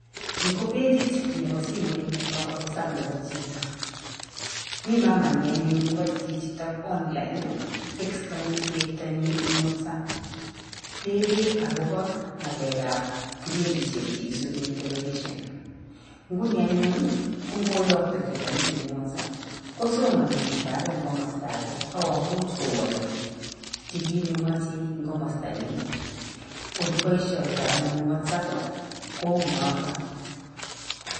Ni ko pechit nebo simoit nebo whatsapp nebo chito, mi mamanyi anyun nebo chichito online ii, tekistoni cheptonyi ing whatsapp, tebee agopo ngalekab kibindisiek cheisubi eng Television. Nguni anyun ii, ko ngoyoikto chito message ing whatsapp, kosomoni chito age ngomosto age ak komuch kowolchi kiit nemoche eng komasta niin, oleboisiotoi anyun whatsapp ii kou notok.